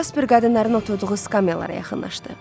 Jaspar qadınların oturduğu skamellara yaxınlaşdı.